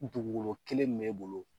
Dugukolo kelen min b'e bolo